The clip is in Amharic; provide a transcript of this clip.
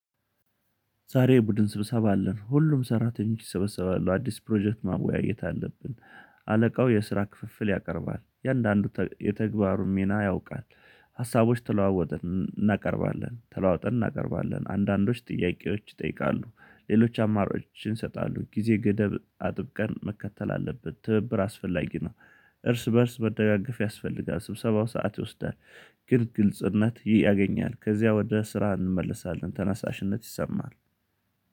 ዛሬ የቡድን ስብሰባ አለን ሁሉም ሰራተኞች ይሰበሰባሉ አዲስ ፕሮጀክት ማወያየት አለብን። አለቃው የስራ ክፍፍል ያቀርባል እያንዳንዱ የተግባሩን ሚና ያውቃል። ሀሳቦች ተለዋወጠን እናቀርባለን ተለዋውጠን እናቀርባለን አንዳንዶች ጥያቄዎች ይጠይቃሉ ሌሎች አማራጮችን ይሰጣሉ ጊዜ ገደብ አጥብቀን መከተል አለብን። ትብብር አስፈላጊ ነው። እርስ በእርስ መደጋገፍ ያስፈልጋል። ስብሰባው ሰዓት ይወስዳል። ግን ግልጽነት ያገኛል ከዚያ ወደ ስራ እንመለሳለን። ተነሳሽነት ይሰማል